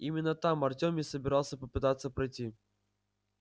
именно там артём и собирался попытаться пройти